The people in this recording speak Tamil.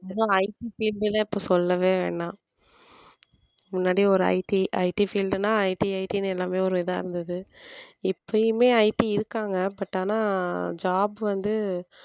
இப்ப IT field லாம் சொல்லவே வேணாம் முன்னாடியே ஒரு ITITfield ன்னா ITIT ன்னு எல்லாமே ஒரு இதா இருந்தது இப்பயுமே IT இருக்காங்க but ஆனா job வந்து